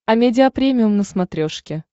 амедиа премиум на смотрешке